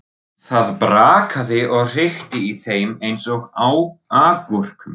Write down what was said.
Það brakaði og hrikti í þeim eins og agúrkum.